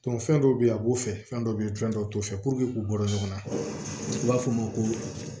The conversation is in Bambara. fɛn dɔw bɛ yen a b'o fɛ fɛn dɔ bɛ ye fɛn dɔw t'o fɛ k'u bɔ ɲɔgɔn na u b'a fɔ ma ko